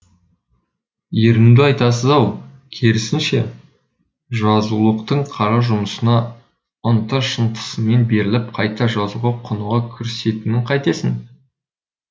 ерінуді айтасыз ау керісінше жазушылықтың қара жұмысына ынты шынтысымен беріліп қайта жазуға құныға кірісетінін қайтесің